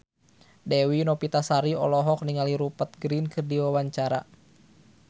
Dewi Novitasari olohok ningali Rupert Grin keur diwawancara